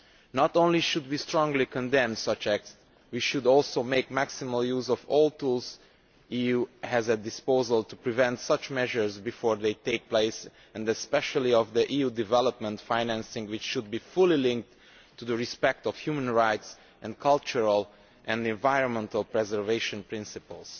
Not only should we strongly condemn such acts, we should also make maximal use of all the tools the EU has at its disposal to prevent such measures before they take place, and especially the EU development financing, which should be fully linked to respect for human rights and cultural and environmental preservation principles.